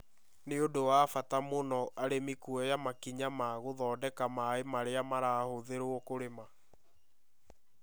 Nĩ ũndũ wa bata mũno arĩmi kuoya makinya ma gũthondeka maaĩ marĩa marahuthĩrwo kũrĩma.